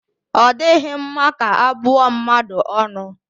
Ọ dịghị mma ka abụ ọ mmadụ ọnụ